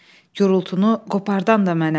Gurultunu qopardan da mənəm.